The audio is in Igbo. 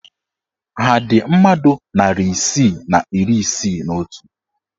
Ha dị mmadụ narị isii na iri isii na otu?